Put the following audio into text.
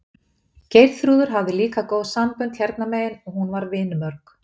Geirþrúður hafði líka góð sambönd hérna megin og hún var vinmörg.